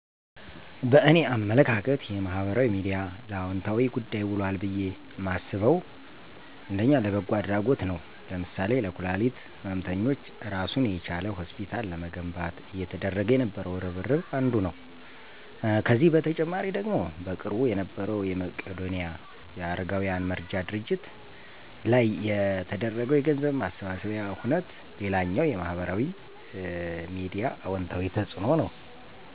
በእኔ አመለካከት የማህበራዊ ሚድያ ለአወንታዊ ጉዳይ ውሏል ብየ ማስበው፣ ለበጎ አድረጎት ነዉ ለምሳሌ ለኩላሊት ህመምተኞች እራሱን የቻለ ሆስፒታል ለመገንባት እየተደረገ የነበረው እርብርብ አንዱ ነው። ከዚህ በተጨማሪ ደግሞ በቅርቡ የነበረዉ የመቄዶንያ የአረጋውያን መርጃ ድርጅት ላይ የተደረገው የገንዘብ ማሰባሰቢያ ሁነት ሌላኛው የማህበራዊ ሚዲያ አወንታዊ ተፅእኖ ነዉ።